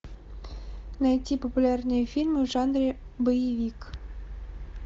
найти популярные фильмы в жанре боевик